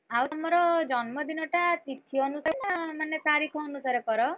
ଆଉ ତମର ଜନ୍ମ ଦିନ ଟା ତିଥି ଅନୁସାରେ ନା ମାନେ ତାରିଖ ଅନୁସାରେ କର?